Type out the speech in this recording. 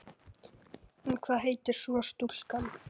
En hvað heitir svo stúlkan?